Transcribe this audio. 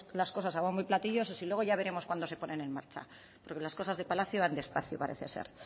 las cosas a bombo y a platillo eso sí luego ya veremos cuándo se ponen en marcha porque las cosas de palacio van despacio parece ser